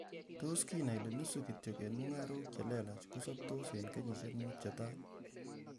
Tos kiinai ile nusu kityok en mung'arok che lelach, kosoptos en kenyisiek mut che tai?